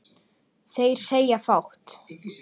Þeir segja fátt